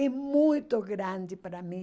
É muito grande para mim.